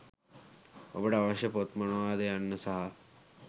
ඔබට අවශ්‍ය පොත් මොනවාද යන්න සහ